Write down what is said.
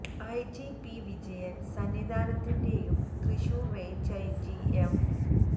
IG P Vijayan സന്നിധാനത്തിന്റെയും Thrissur range IG M